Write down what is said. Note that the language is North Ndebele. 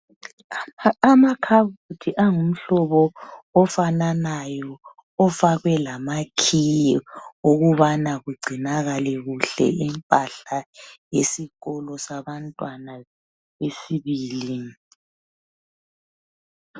Amakhabothi angumhlobo ofananayo ofakwe lamakhiye ukubana kugcinakale kuhle imphahla yesikolo sabantwana